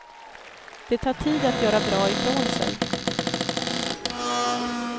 Det tar tid att göra bra ifrån sig.